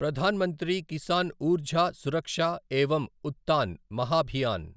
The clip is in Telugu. ప్రధాన్ మంత్రి కిసాన్ ఉర్జా సురక్ష ఏవం ఉత్తాన్ మహాభియాన్